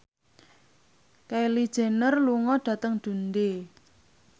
Kylie Jenner lunga dhateng Dundee